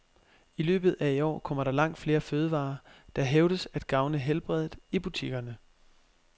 I løbet af i år kommer der langt flere fødevarer, der hævdes at gavne helbredet, i butikkerne.